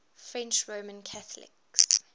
french roman catholics